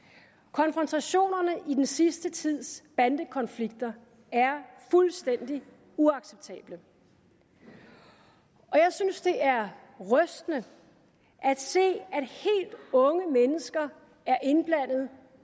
konfrontationerne i den sidste tids bandekonflikter er fuldstændig uacceptable og jeg synes det er rystende at se at helt unge mennesker er indblandet